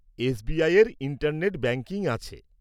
এসবিআইয়ের internet banking আছে।